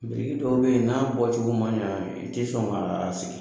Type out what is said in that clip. Biriki dɔw bɛ yen n'a bɔcogo man ɲɛ i tɛ sɔn k'a sigi